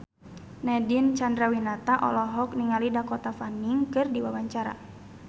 Nadine Chandrawinata olohok ningali Dakota Fanning keur diwawancara